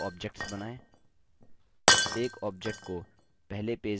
पहले पेज पर दो objects बनाएँ